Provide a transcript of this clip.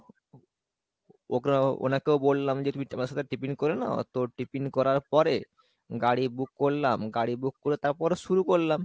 ওকে ওনাকেও বলাম যে তুমি তোমার সাথে tiffin করে নাও তো tiffin করার পরে গাড়ি book করলাম, গাড়ি book করে তারপরে শুরু করলাম।